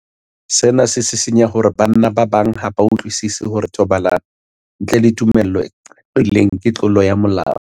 Sena se sisinya hore banna ba bang ha ba utlwisisi hore thobalano ntle le tumello e qaqileng ke tlolo ya molao.